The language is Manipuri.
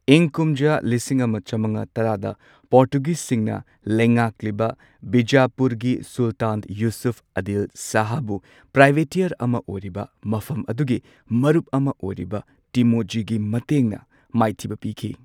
ꯏꯪ ꯀꯨꯝꯖꯥ ꯂꯤꯁꯤꯡ ꯑꯃ ꯆꯃꯉꯥ ꯇꯔꯥꯗ ꯄꯣꯔꯇꯨꯒꯤꯖꯁꯤꯡꯅ ꯂꯩꯉꯥꯛꯂꯤꯕ ꯕꯤꯖꯥꯄꯨꯔꯒꯤ ꯁꯨꯜꯇꯥꯟ ꯌꯨꯁꯨꯐ ꯑꯥꯗꯤꯜ ꯁꯥꯍꯕꯨ ꯄ꯭ꯔꯥꯏꯚꯦꯇꯤꯌꯔ ꯑꯃ ꯑꯣꯏꯔꯤꯕ ꯃꯐꯝ ꯑꯗꯨꯒꯤ ꯃꯔꯨꯞ ꯑꯃ ꯑꯣꯏꯔꯤꯕ ꯇꯤꯃꯣꯖꯤꯒꯤ ꯃꯇꯦꯡꯅ ꯃꯥꯏꯊꯤꯕ ꯄꯤꯈꯤ꯫